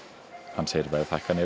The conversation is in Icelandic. hann segir verðhækkanirnar